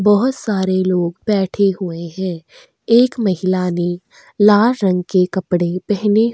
बहोत सारे लोग बैठे हुए हैं एक महिला ने लार रंग के कपड़े पहने हु --